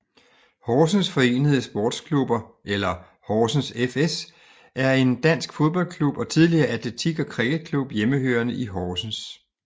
Horsens Forenede Sportsklubber eller Horsens fS er en dansk fodboldklub og tidligere atletik og criketklub hjemmehørende i Horsens